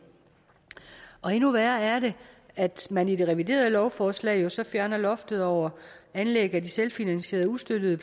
endnu værre er det at man i det reviderede lovforslag jo så fjerner loftet over anlæg af de selvfinansierede ustøttede